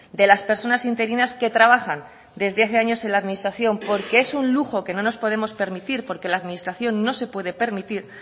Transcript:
de las personas interinas que trabajan desde hace años en la administración porque es un lujo que no nos podemos permitir porque la administración no se puede permitir